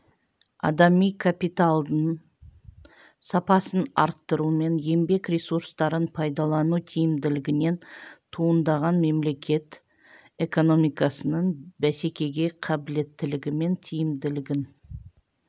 адами капиталдың сапасын арттыру мен еңбек ресурстарын пайдалану тиімділігінен туындаған мемлекет экономикасының бәсекеге қабілеттілігі мен тиімділігін